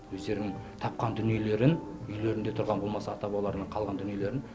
өздерінің тапқан дүниелерін үйлерінде тұрған болмаса ата бабаларының қалған дүниелерін